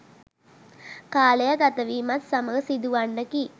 කාලය ගත වීමත් සමඟ සිදු වන්නකි.